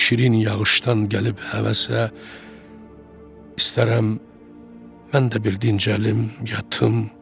Bir şirin yağışdan gəlib həvəsə, istərəm mən də bir dincəlim, yatım.